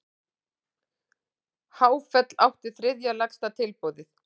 Háfell átti þriðja lægsta tilboðið